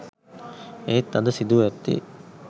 එහෙත් අද සිදුව ඇත්තේ